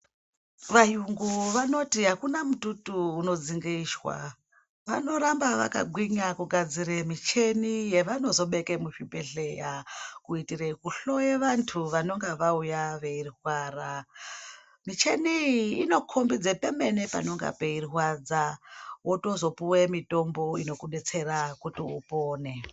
Vayungu vanoti akuna mututu unodzinge ishwa, vanoramba vakagwinya kugadzire cheni yevanozobeke muzvibhedhleya kuitire kuhloye vantu vanonga vauya veirwara, micheni iyi inokhombidze pemene panenga peirwadza wozotopuwe mutombo inokubetsera kuti upone.